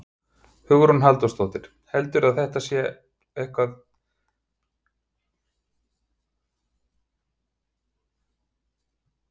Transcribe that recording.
Hugrún Halldórsdóttir: Heldurðu að þetta kenni þér eitthvað?